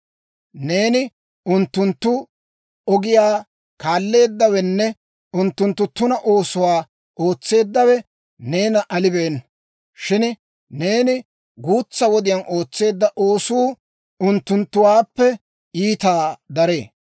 Neeni unttunttu ogiyaa kaalleeddawenne unttunttu tuna oosotuwaa ootseeddawe neena alibeenna. Shin neeni guutsa wodiyaan ootseedda oosuu unttunttuwaappe iitaa daree.